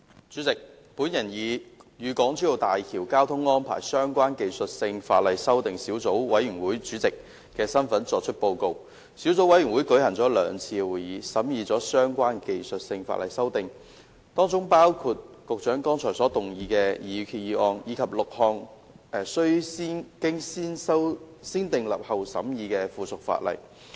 主席，我以"與港珠澳大橋交通安排相關的技術性法例修訂小組委員會"主席的身份作出報告。小組委員會舉行了兩次會議，審議相關的技術性法例修訂，當中包括局長剛才所動議的擬議決議案，以及6項須進行"先訂立後審議"程序的附屬法例。